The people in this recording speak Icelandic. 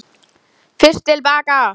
FYRST TIL BAKA.